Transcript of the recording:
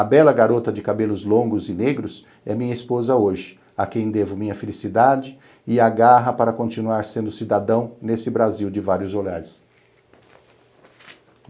A bela garota de cabelos longos e negros é minha esposa hoje, a quem devo minha felicidade e a garra para continuar sendo cidadão nesse Brasil de vários olhares.